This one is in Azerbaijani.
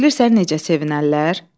Bilirsən necə sevinərlər?